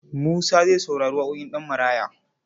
Musa zai saurari waƙoƙin Ɗanmaraya.